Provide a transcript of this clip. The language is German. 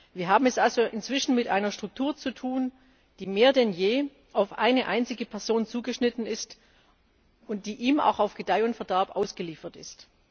Wir haben es also inzwischen mit einer Struktur zu tun, die mehr denn je auf eine einzige Person zugeschnitten ist und die ihm auch auf Gedeih und Verderb ausgeliefert ist.